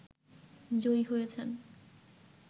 জয়ী হয়েছেন